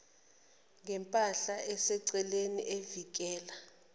ngempahla eseceleni evikela